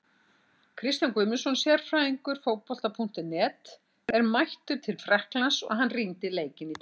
Kristján Guðmundsson, sérfræðingur Fótbolta.net, er mættur til Frakklands og hann rýndi í leikinn í dag.